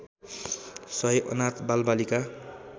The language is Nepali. सय अनाथ बालबालिका